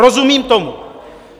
Rozumím tomu.